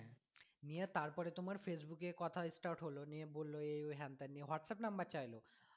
নিয়ে তারপরে তোমার facebook এ কথা start হলো নিয়ে বললো এই ওই হ্যান তেন দিয়ে whatsapp number চাইলো